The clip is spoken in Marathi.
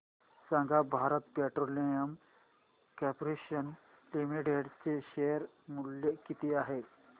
सांगा भारत पेट्रोलियम कॉर्पोरेशन लिमिटेड चे शेअर मूल्य किती आहे